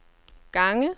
gange